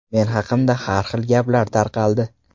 Men haqimda har xil gaplar tarqaldi.